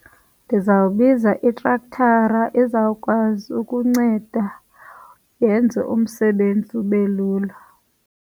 Ndizawubiza itrektara ezawukwazi ukunceda yenze umsebenzi ube lula.